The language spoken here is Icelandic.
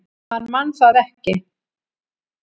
Hann man það ekki.